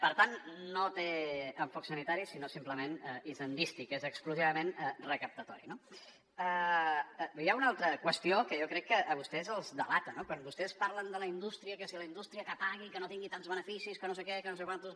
per tant no té enfoc sanitari sinó simplement hisendístic és exclusivament recaptatori no hi ha una altra qüestió que jo crec que a vostès els delata no quan vostès parlen de la indústria que si la indústria que pagui que no tingui tants beneficis que no sé què que no sé què més